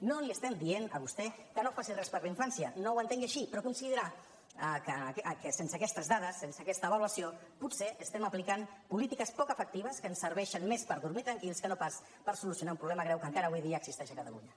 no li estem dient a vostè que no faci res per la infància no ho entengui així però sense aquestes dades sense aquesta avaluació potser estem aplicant polítiques poc efectives que ens serveixen més per dormir tranquils que per solucionar un problema greu que encara avui dia existeix a catalunya